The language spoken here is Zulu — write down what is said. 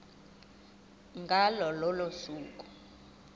ngalo lolo suku